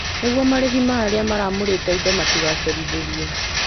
Nĩguo marĩhi ma arĩa maramũrĩte indo matigacerithĩrio.